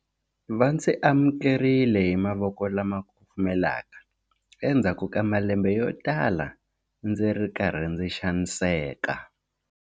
Va ndzi amukerile hi mavoko lama kufumelaka endzhaku ka malembe yotala ndzi ri karhi ndzi xaniseka.